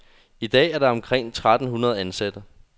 I dag er der omkring tretten hundrede ansatte.